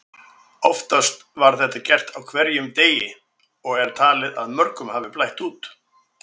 Oftast var þetta gert á hverjum degi og er talið að mörgum hafi blætt út.